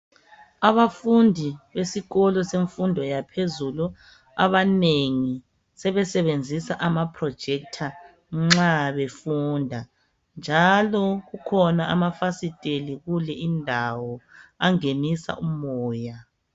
Abafundi besikolo semfundo yaphezulu, abanengi sebesebenzisa amaprojector nxa befunda, njalo kukhona amafasiteli kule indawo, angenisa umoya.